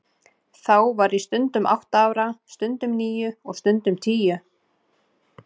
Þá var ég stundum átta ára, stundum níu og stundum tíu.